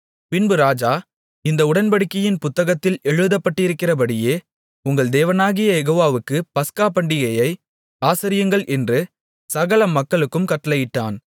பின்பு ராஜா இந்த உடன்படிக்கையின் புத்தகத்தில் எழுதப்பட்டிருக்கிறபடியே உங்கள் தேவனாகிய யெகோவாவுக்குப் பஸ்கா பண்டிகையை ஆசரியுங்கள் என்று சகல மக்களுக்கும் கட்டளையிட்டான்